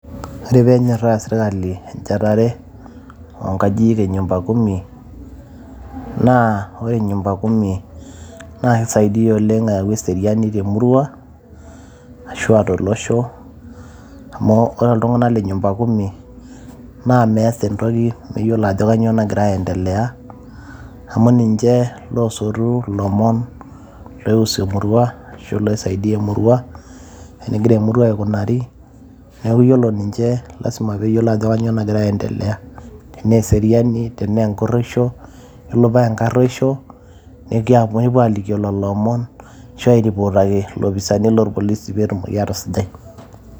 Ore peenyora serkali encherare oo nyumbakumi naa ore nyumbakumi na keyau eseriani temurua ashu a tolosho amu ore ltunganak le nyumbakumi na measa entoki meyiolo ajo kanyio nagira aendelea, amu ninche losotu lomon laiusu emurua ashu laisaidia emurua enegira emurua aikunari ,neaku iyolo ninche lasima peeyiolo ajo kanyio nagira aasa nagira aendelea tenaa eseriani tenengureisho ,tenengaruoisho, na kepuo alikio lolo omon asu airiportaki lopisnai lorpolisi petumoki atusujai.